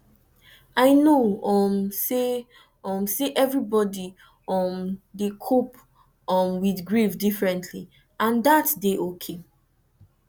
i know um say um say everybody um dey cope um with grief differently and dat dey okay